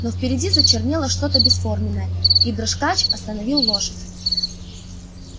но впереди зачернело что-то бесформенное и дрожкач остановил лошадь